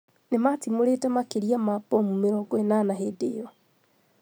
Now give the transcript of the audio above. Nimatimurĩte makĩria ma bomu mĩrongo inanana hĩndi ĩcio